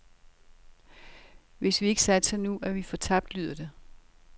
Hvis vi ikke satser nu, er vi fortabt, lyder det.